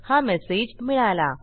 हा मेसेज मिळाला